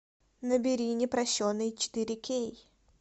набери непрощенный четыре кей